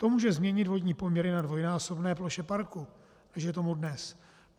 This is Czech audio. To může změnit vodní poměry na dvojnásobné ploše parku, než je tomu dnes.